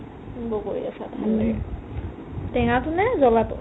উম, বগৰীৰ আচাৰ ভাল লাগে টেঙাটো নে জ্বলাটো ?